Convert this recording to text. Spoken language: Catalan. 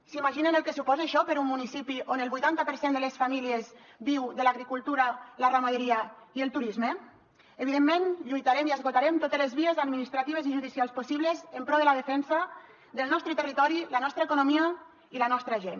s’imaginen el que suposa això per a un municipi on el vuitanta per cent de les famílies viu de l’agricultura la ramaderia i el turisme evidentment lluitarem i esgotarem totes les vies administratives i judicials possibles en pro de la defensa del nostre territori la nostra economia i la nostra gent